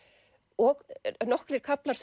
og nokkrir kaflar